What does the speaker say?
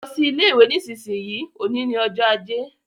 Lọ sí ilé ìwé nísinsìnyí, òní ni ọjọ́ ajé